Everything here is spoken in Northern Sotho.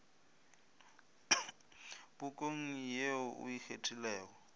pukung ye o e kgethilego